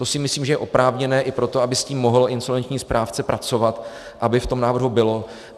To si myslím, že je oprávněné i proto, aby s tím mohl insolvenční správce pracovat, aby v tom návrhu bylo.